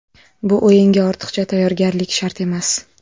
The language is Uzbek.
Bu o‘yinga ortiqcha tayyorgarlik shart emas.